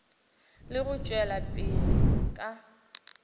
le go tšwela pele ka